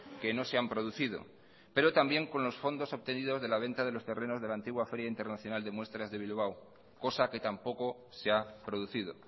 que no se han producido pero también con los fondos obtenidos de la venta de los terrenos de la antigua feria internacional de muestras de bilbao cosa que tampoco se ha producido